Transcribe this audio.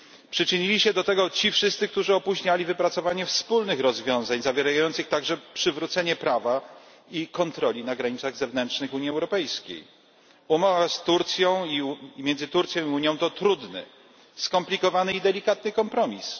Przyczynili się do tego ci wszyscy, którzy opóźniali wypracowanie wspólnych rozwiązań, obejmujących także przywrócenie prawa i kontroli na granicach zewnętrznych Unii Europejskiej. Umowa między Turcją a Unią to trudny, skomplikowany i delikatny kompromis.